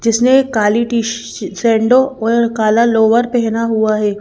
जिसने एक काली और काला लोअर पेहना हुआ है।